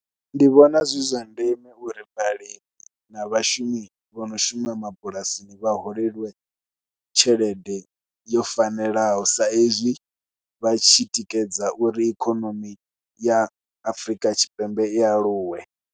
Ndi vhona zwi zwa ndeme uri vhalimi na vhashumi vho no shuma mabulasini vha holeliwe tshelede yo fanelaho saizwi vha tshi tikedza uri ikonomi ya Afrika Tshipembe i aluwe.